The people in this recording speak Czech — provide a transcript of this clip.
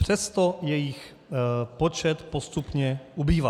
Přesto jejich počet postupně ubývá.